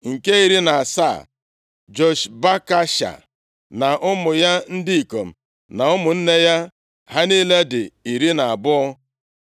Nke iri na asaa, Joshbekasha na ụmụ ya ndị ikom na ụmụnne ya. Ha niile dị iri na abụọ (12).